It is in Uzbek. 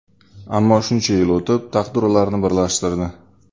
Ammo shuncha yil o‘tib, taqdir ularni birlashtirdi.